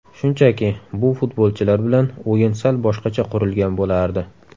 Shunchaki, bu futbolchilar bilan o‘yin sal boshqacha qurilgan bo‘lardi.